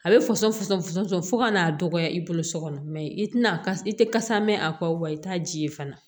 A bɛ fɔsɔnsɔn fu fo ka n'a dɔgɔya i bolo so kɔnɔ i tɛna ka i tɛ kasa mɛn a kɔ wa i t'a ji ye fana